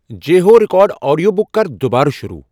J ہو record audio book کر دُبارٕ شروع ۔